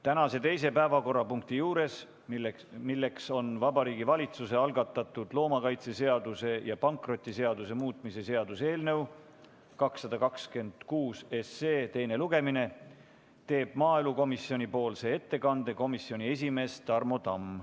Tänase teise päevakorrapunkti juures, milleks on Vabariigi Valitsuse algatatud loomakaitseseaduse ja pankrotiseaduse muutmise seaduse eelnõu 226 teine lugemine, teeb maaelukomisjonipoolse ettekande komisjoni esimees Tarmo Tamm.